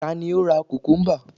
ta ni o ra kukumba